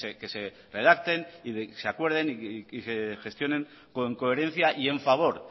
que se redacten y que se acuerden y se gestionen con coherencia y en favor